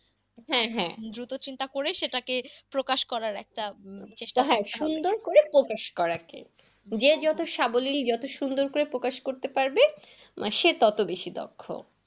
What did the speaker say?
হ্যাঁ হ্যাঁ দ্রুত চিন্তা করে সেটা কে প্রকাশ করার একটা চেষ্টা হয়। সুন্দর করে প্রকাশ করাকে যে যত সাবলীল যত সুন্দর করে প্রকাশ করতে পারবে, সে তত বেশি দক্ষ।